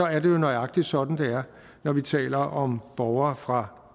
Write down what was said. er det jo nøjagtig sådan det er når vi taler om borgere fra